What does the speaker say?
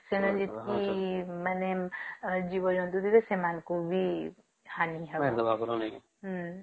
କାରଣ ଯେତିକି ମାନେ ଯିବ ଜନ୍ତୁ ବିତ ସେମାନଙ୍କୁ ବି ହାନି